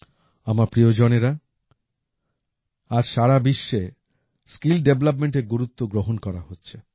আমার প্রিয়জনেরা আজ সারা বিশ্বে স্কিল ডেভেলপমেন্ট এর গুরুত্ব গ্রহণ করা হচ্ছে